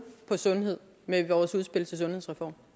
på sundhed med vores udspil til sundhedsreform